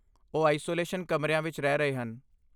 ਉਹ ਆਈਸੋਲੇਸ਼ਨ ਕਮਰਿਆਂ ਵਿੱਚ ਰਹਿ ਰਹੇ ਹਨ।